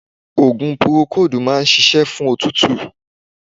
Ogun porokodu máa ń ṣíṣe fún òtútù